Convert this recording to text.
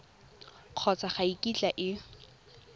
kgotsa ga e kitla e